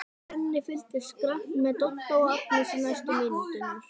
Svenni fylgist grannt með Dodda og Agnesi næstu mínúturnar.